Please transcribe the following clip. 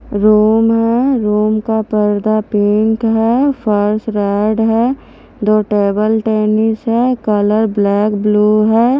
Room है room का पर्दा पिंक है फर्स रेड है दो टेबल टेनिस है कलर ब्लैक ब्लू है।